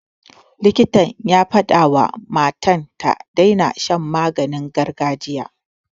Likita ya fadawa wa matan ta daina shan maganin gargajiya.